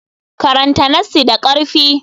Karanta nassi da ƙarfi.